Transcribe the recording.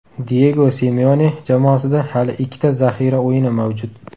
Diyego Simeone jamoasida hali ikkita zaxira o‘yini mavjud.